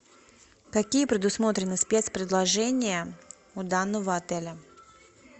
какие предусмотрены спец предложения у данного отеля